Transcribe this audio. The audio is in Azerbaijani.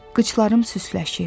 Qıçlarım süsləşir.